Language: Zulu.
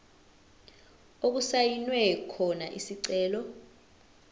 okusayinwe khona isicelo